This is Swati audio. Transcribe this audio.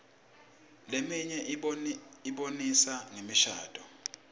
leminye ibonisa ngemishadvo